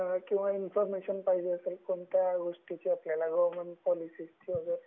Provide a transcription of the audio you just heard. किंवा इन्फर्मेशन पाहिजे तर कोणत्या गोष्टीची आपल्याला गवर्नमेंट पॉलिसीची वैगेरे